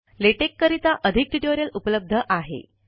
LaTeX करिता अधिक tutorial उपलब्ध आहे